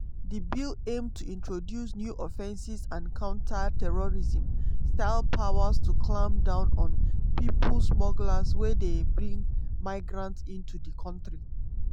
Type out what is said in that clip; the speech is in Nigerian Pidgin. di bill aim to introduce new offences and counter terrorism-style powers to clamp down on pipo smugglers wey dey bring migrants into di kontri.